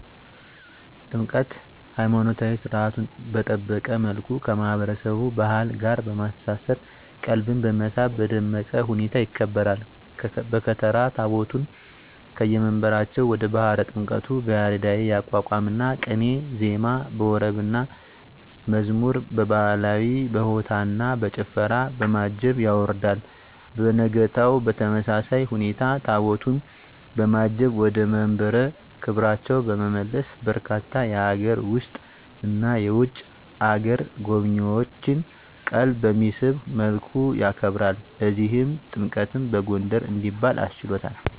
ጥምቀት!! ሀይማኖታዊ ሰርዓቱን በጠበቀ መልኩ ከማህበረሰቡ ባህል ጋር በማስተሳሰር ቀልብን በመሳብ በደመቀ ሁኔታ ይከበራል። በከተራ ታቦታቱን ከየመንበራቸው ወደ ባህረ ጥምቀቱ በያሬዳዊ የአቋቋምና ቅኔ ዜማ፣ በወረብና መዝሙር፣ በባህላዊ በሆታና በጭፈራ፣ በማጀብ ያወርዳል። በነጋታው በተመሳሳይ ሁኔታ ታቦታቱን በማጀብ ወደ መንበረ ክብራቸው በመመለስ በርካታ የሀገር ውስጥና የውጭ አገር ጎብኚዎችን ቀልብ በሚስብ መልኩ ያከብራል። ለዚህም ጥምቀትን በጎንደር እንዲባል አስችሎታል!!